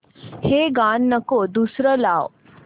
हे गाणं नको दुसरं लाव